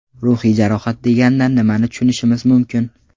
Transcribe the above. Ruhiy jarohat deganda nimani tushunishimiz mumkin?